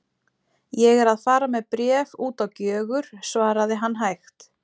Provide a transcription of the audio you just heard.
Ég er að fara með bréf út á Gjögur, svaraði hann hægt.